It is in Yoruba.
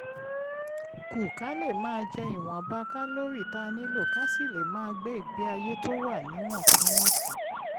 kù ka lè máa jẹ ìwọ̀nba kálórì tá a nílò ká sì lè máa gbé ìgbé ayé tó wà níwọ̀ntúnwọ̀nsì